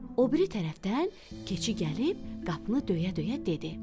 O biri tərəfdən, keçi gəlib qapını döyə-döyə dedi.